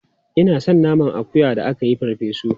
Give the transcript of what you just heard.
Ina son naman akuya da aka yi farfe su.